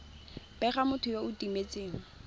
bega motho yo o timetseng